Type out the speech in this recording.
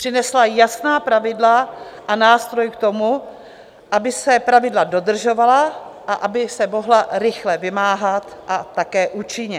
Přinesla jasná pravidla a nástroj k tomu, aby se pravidla dodržovala a aby se mohla rychle vymáhat, a také účinně.